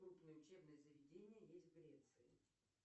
крупные учебные заведения есть в греции